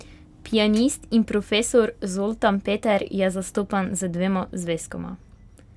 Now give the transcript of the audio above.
Pianist in profesor Zoltan Peter je zastopan z dvema zvezkoma.